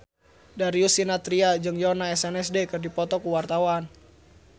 Darius Sinathrya jeung Yoona SNSD keur dipoto ku wartawan